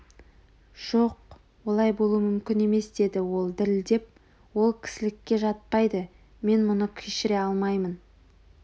жоқ олай болуы мүмкін емес деді ол дірілдеп ол кісілікке жатпайды мен мұны кешіре алмаймын